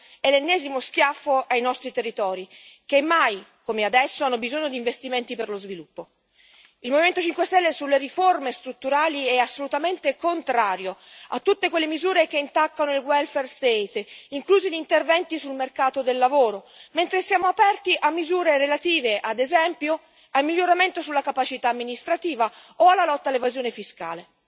è l'ennesimo schiaffo ai nostri territori, che mai come adesso hanno bisogno di investimenti per lo sviluppo. Il Movimento 5 Stelle, sulle riforme strutturali, è assolutamente contrario a tutte quelle misure che intaccano il welfare state inclusi gli interventi sul mercato del lavoro, mentre siamo aperti a misure relative, ad esempio, al miglioramento sulla capacità amministrativa o alla lotta all'evasione fiscale.